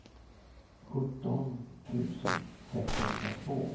sjutton tusen sexhundratvå